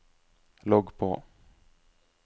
logg på